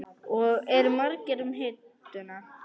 Og eru margir um hituna?